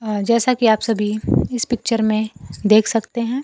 जैसा की आप सभी इस पिक्चर में देख सकते हैं।